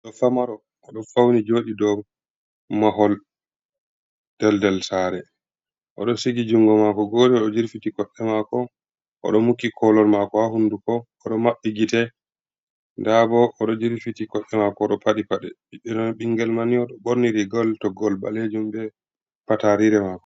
Ɗo famaro oɗo fauni joɗi dow mahol daldal sare o ɗo sigi jungo mako gode o ɗo jirfiti kosɗe mako oɗo muki kolol mako ha hunduko o ɗo maɓɓi gite nda o ɗo jirfiti kode mako oɗo paɗi paɗe biɗino bingel mani o ɗo borniri ngal to ngol ɓalejum ɓe pat rire mako.